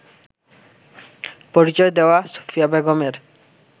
পরিচয় দেওয়া সুফিয়া বেগমের